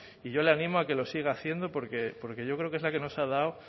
y yo le animo a que lo siga haciendo porque yo creo que es la que nos ha dado